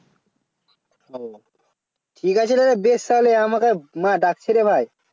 ও ঠিক আছে ঠিক আছে রে বেশ তাহলে আমাকে মা ডাকছেরে ভাই